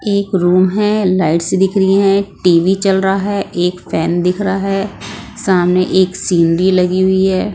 एक रूम है लाइट्स दिख रही हैं टी_वी चल रहा है एक फैन दिख रहा है सामने एक सीनरी लगी हुई है।